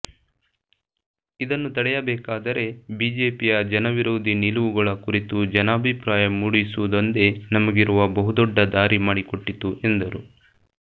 ಇದನ್ನು ತಡೆಯಬೇಕಾದರೆ ಬಿಜೆಪಿಯ ಜನವಿರೋಧಿ ನಿಲುವುಗಳ ಕುರಿತು ಜನಾಭಿಪ್ರಾಯ ಮೂಡಿಸುವುದೊಂದೆ ನಮಗಿರುವ ಬಹುದೊಡ್ಡ ದಾರಿ ಮಾಡಿಕೊಟ್ಟಿತು ಎಂದರು